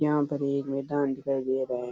यहाँ पर एक मैदान दिखाई दे रहा है।